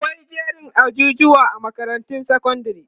akwai jerin ajujuwa a makarantar sekondari